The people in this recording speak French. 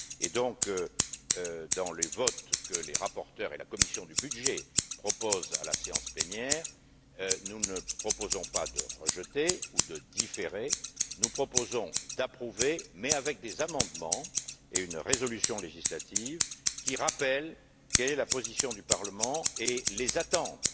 Par conséquent, dans les votes que les rapporteurs et la commission des budgets proposent à la séance plénière, nous ne proposons pas de rejeter ou de différer, nous proposons d'approuver mais avec des amendements et une résolution législative qui rappelle la position du parlement et ses attentes